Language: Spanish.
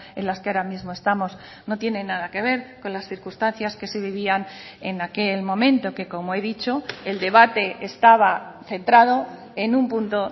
en las que ahora mismo estamos no tienen nada que ver con las circunstancias que se vivían en aquel momento que como he dicho el debate estaba centrado en un punto